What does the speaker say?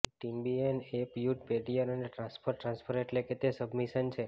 ટેમ્બિએન સે પ્યુઇડઈ પેડિયર અને ટ્રાન્સફર ટ્રાન્સફર એટલે કે તે સબમિશન છે